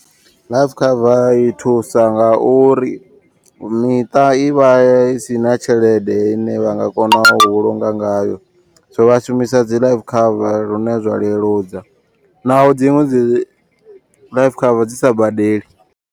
Life cover i thusa nga uri miṱa i vha isina tshelede ine vha nga kona u vhulunga ngayo. So vha shumisa dzi life cover lune zwa leludza, naho dziṅwe dzi life cover dzi sa badeli.